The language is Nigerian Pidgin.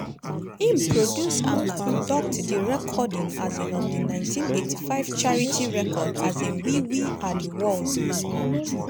im produce and conduct di recording um of di 1985 charity record um we we are di world.